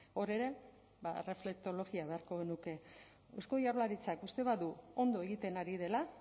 hor ere ba erreflektologia beharko genuke eusko jaurlaritzak uste badu ondo egiten ari dela